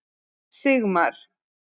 Sigmar